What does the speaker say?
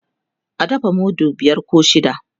a dafa mudu biyar koh shida